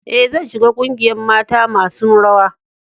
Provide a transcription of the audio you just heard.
E,zan shiga ƙungiyan mata masun rawa.